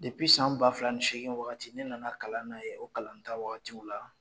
san ba fila ni seegin wagati ne nana kalan kɛ o kalanta waatiw la